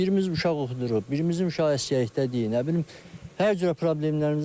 Birimiz uşaq oxuduruq, birimizin uşaq əsgərlikdədir, nə bilim hər cürə problemlərimizdir.